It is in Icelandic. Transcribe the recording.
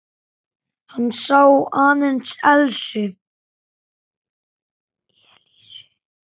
Hann sá aðeins Elísu.